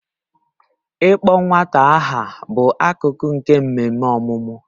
Ịkpọ nwata aha bụ akụkụ nke mmemme ọmụmụ